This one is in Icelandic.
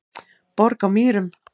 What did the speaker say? Borg á Mýrum